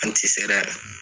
An ti sera